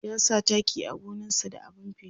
ya sa taki a gonan sa da abun feshi